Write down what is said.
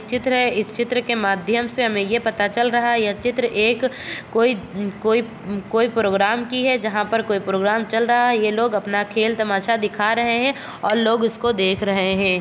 चित्र है। इस चित्र के माध्यम से हमे ये पता चल रहा है यहाँ चित्र एक कोई कोई कोई प्रोग्राम की है। जहाँ पर कोई प्रोग्राम चल रहा है। ये लोग अपना खेल तमाशा दिखा रहे है। और लोग उसको देख रहे है।